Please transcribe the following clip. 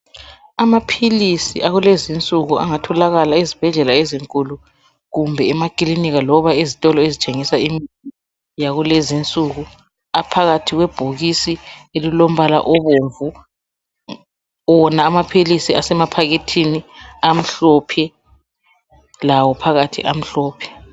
Amaphilisi akulezinsuku angatholaka ezibhedlela ezinkulu kumbe emakilinika loba ezitolo ezithengisa imithi yakulezinsuku, aphakathi kwebhokisi elilombala obomvu. Wona amaphilisi semaphakethini amhlophe, lawo phakathi amhlophe